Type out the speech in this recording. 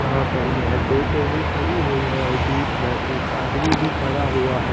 यहाँ पर ये हैं दो टरी खड़ी हैं और बीच में एक आदमी भी खड़ा हुआ हैं।